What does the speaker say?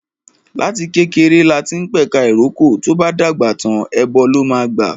Láti kékeré lati ń p'ẹ̀ka ìrókò, tó'bá dàgbà tàń, ẹbọ ló máa gbà